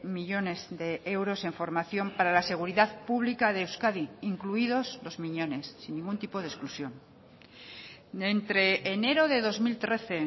millónes de euros en formación para la seguridad pública de euskadi incluidos los miñones sin ningún tipo de exclusión entre enero de dos mil trece